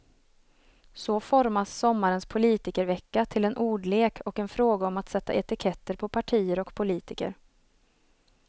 Så formas sommarens politikervecka till en ordlek och en fråga om att sätta etiketter på partier och politiker.